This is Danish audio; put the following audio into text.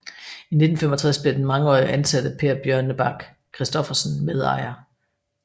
I 1965 blev den mangeårige ansatte Per Bjørnebak Christoffersen medejer